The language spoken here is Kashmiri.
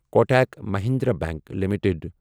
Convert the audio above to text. Kotak Mahindra bank limited